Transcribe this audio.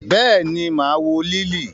Béèni, maa wo Liili.